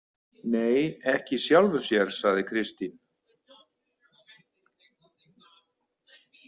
Nei, ekki í sjálfu sér, sagði Kristín.